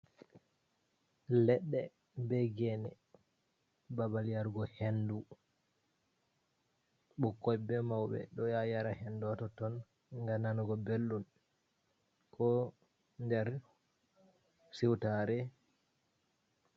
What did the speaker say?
Ledde be gene babal yarugo hendu ɓikkoi be maube do ya yara hendu toton ngannanugo beldum ko nder siwtare.